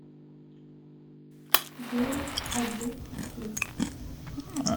девять один три